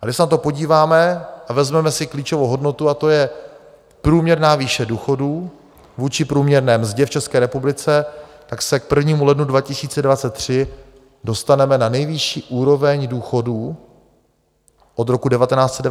A když se na to podíváme a vezmeme si klíčovou hodnotu, a to je průměrná výše důchodů vůči průměrné mzdě v České republice, tak se k 1. lednu 2023 dostaneme na nejvyšší úroveň důchodů od roku 1991 vůči průměrné mzdě.